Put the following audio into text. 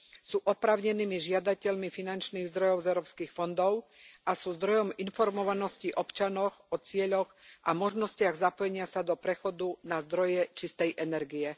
Sú oprávnenými žiadateľmi finančných zdrojov z európskych fondov a sú zdrojom informovanosti občanov o cieľoch a možnostiach zapojenia sa do prechodu na zdroje čistej energie.